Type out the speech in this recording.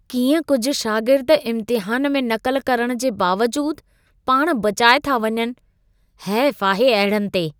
कीअं कुझु शागिर्द इम्तिहान में नक़ल करण जे बावजूदु पाण बचाए था वञनि? हैफ आहे अहिड़नि ते।